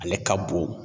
Ale ka bon